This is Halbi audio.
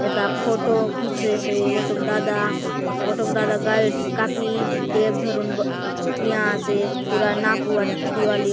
एटा फोटो खींचेसे गोटोक दादा गोटोक दादा का य कॉपी टेप धरुन ठिया आसे पूरा नापुआत दीवाल दीवाल --